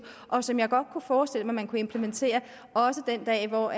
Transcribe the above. og som jeg godt kunne forestille mig man kunne implementere også den dag hvor